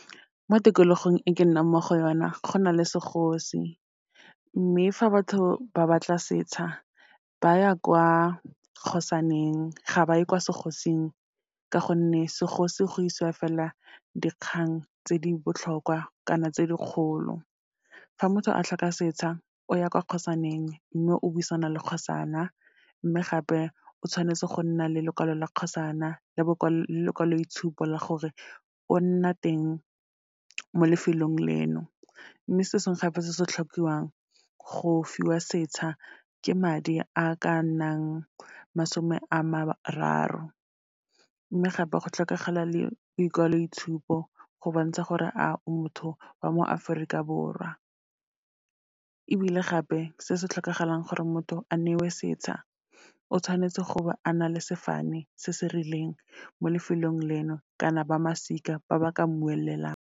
Mo tikologong e ke nnang mo go yona, go na le segosi. Mme fa batho ba batla setsha, ba ya kwa kgosaneng, ga ba ye kwa segosing, ka gonne segosi go isiwa fela dikgang tse di botlhokwa kana tse dikgolo. Fa motho a tlhoka setsha, o ya kwa kgosaneng, mme o buisana le kgosana, mme gape o tshwanetse go nna le lekwalo la kgosana, le lekwaloitshupo la gore o nna teng mo lefelong leno. Mme se sengwe gape se se tlhokiwang go fiwa setsha, ke madi a ka nnang masome a mararo. Mme gape go tlhokagala le boikwaloitshupo, go bontsha gore a o motho wa mo Aforika Borwa. Ebile gape, se se tlhokagalang gore motho a newe setsha, o tshwanetse go ba a na le sefane se se rileng mo lefelong leno, kana ba masika ba ba ka mmuelelang.